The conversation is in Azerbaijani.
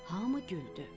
Hamı güldü.